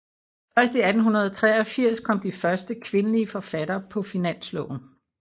Først i 1883 kom de første kvindelige forfattere på finansloven